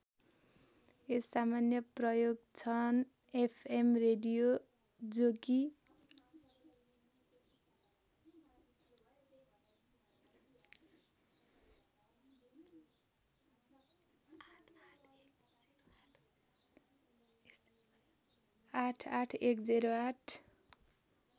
यस सामान्य प्रयोग छन् एफ एम रेडियो जो कि ८८१०८